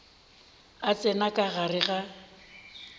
a tsena ka gare ga